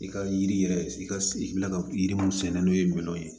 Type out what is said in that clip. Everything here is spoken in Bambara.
I ka yiri yɛrɛ i ka i bɛ ka yiri mun sɛnɛ n'o ye minɛnw ye